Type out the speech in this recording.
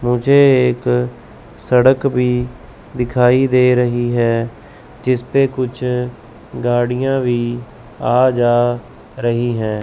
मुझे एक सड़क भी दिखाई दे रही है जिस पे कुछ गाड़ियां भी आ जा रही हैं।